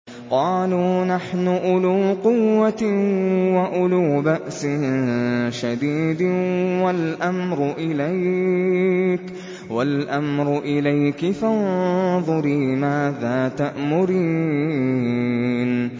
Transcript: قَالُوا نَحْنُ أُولُو قُوَّةٍ وَأُولُو بَأْسٍ شَدِيدٍ وَالْأَمْرُ إِلَيْكِ فَانظُرِي مَاذَا تَأْمُرِينَ